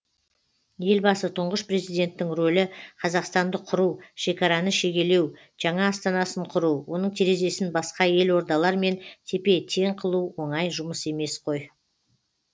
елбасы тұңғыш президенттің ролі қазақстанды құру шекараны шегелеу жаңа астанасын құру оның терезесін басқа елордалармен тепе тең қылу оңай жұмыс емес қой